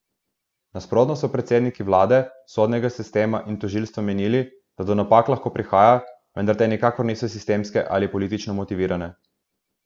Nasprotno so predstavniki vlade, sodnega sistema in tožilstva menili, da do napak lahko prihaja, vendar te nikakor niso sistemske ali politično motivirane.